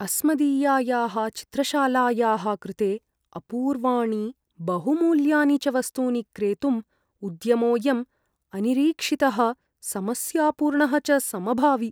अस्मदीयायाः चित्रशालायाः कृते अपूर्वाणि बहुमूल्यानि च वस्तूनि क्रेतुम् उद्यमोऽयं अनिरीक्षितः समस्यापूर्णः च समभावि।